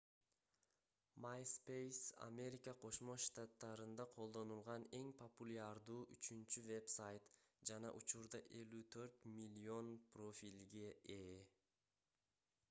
myspace америка кошмо штаттарында колдонулган эң популярдуу үчүнчү вебсайт жана учурда 54 миллион профилге ээ